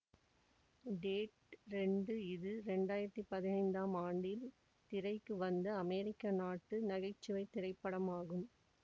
dead ரெண்டு இது ரெண்டு ஆயிரத்தி பதினைந்தாம் ஆண்டில் திரைக்கு வந்த அமெரிக்க நாட்டு நகை சுவை திரைப்படம் ஆகும்